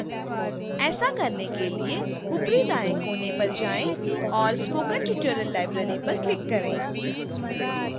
ऐसा करने के लिए ऊपरी दाएँ कोने पर जाएँ और spoken tutorial library पर click करें